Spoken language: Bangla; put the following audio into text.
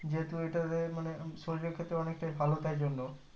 যেহুতু ওই টাতে মানে শরীরের ক্ষেত্রে অনেকটাই ভালো তাইজন্য